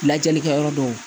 Lajɛlikɛ yɔrɔ dɔw